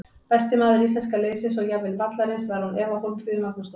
Besti maður íslenska liðsins og jafnvel vallarins var án efa Hólmfríður Magnúsdóttir.